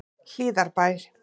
Hlíðarbæ